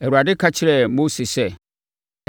Awurade ka kyerɛɛ Mose sɛ,